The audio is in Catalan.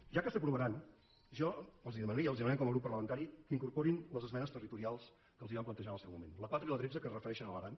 ja que s’aprovaran jo els demanaria els demanem com a grup parlamentari que incorporin les esmenes territorials que els vam plantejar en el seu moment la quatre i la tretze que es refereixen a l’aran